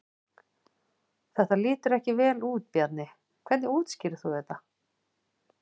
Þetta lítur ekki vel út Bjarni, hvernig útskýrir þú þetta?